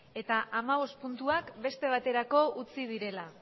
eta amabost puntuak beste baterako utzi direla